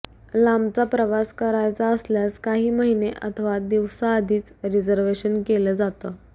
लांबचा प्रवास करायचा असल्यास काही महिने अथवा दिवसआधीच रिझर्व्हेशन केलं जातं